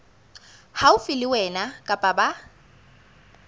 haufi le wena kapa ba